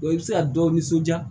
i bɛ se ka dɔ nisɔndiya